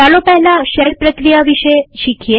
ચાલો પહેલા શેલ પ્રક્રિયા વિશે શીખીએ